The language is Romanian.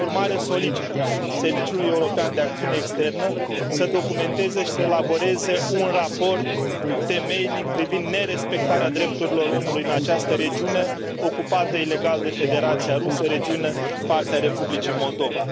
Prin urmare, solicit Serviciului European de Acțiune Externă să documenteze și să elaboreze un raport temeinic privind nerespectarea drepturilor omului în această regiune ocupată ilegal de Federația Rusă, regiune parte a Republicii Moldova.